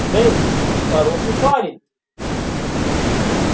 дейв ты хороший парень